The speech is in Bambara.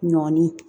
Ɲɔni